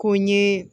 Ko n ye